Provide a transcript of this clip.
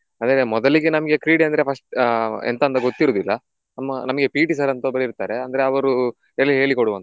ಅದೇ ನಂಗೆ ಮೊದಲಿಗೆ ನಮ್ಗೆ ಕ್ರೀಡೆ ಅಂದ್ರೆ first ಆಹ್ ಎಂತಂತ ಗೊತ್ತಿರುವುದಿಲ್ಲ ನಮ್ಮ ನಮ್ಗೆ PT sir ಅಂತ ಒಬ್ರು ಇರ್ತಾರೆ ಅಂದ್ರೆ ಅವರು ಎಲ್ಲ ಹೇಳಿಕೊಡುವಂತದ್ದು.